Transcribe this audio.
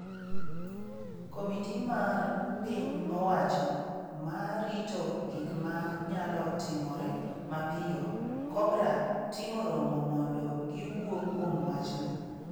Komiti mar piny owacho ma rito gik ma nyalo timore mapiyo, Cobra, timo romo mondo giwuo kuom wachno.